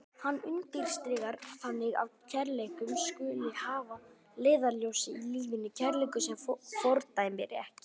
Hann undirstrikar þannig að kærleikurinn skuli hafður að leiðarljósi í lífinu, kærleikur sem fordæmir ekki.